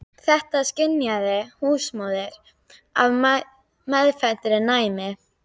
Þetta skynjaði húsmóðirin af meðfæddu næmi.